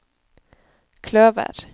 kløver